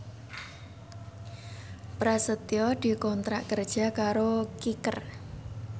Prasetyo dikontrak kerja karo Kicker